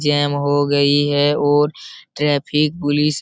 GeM हो गई है और ट्रैफिक पुलिस --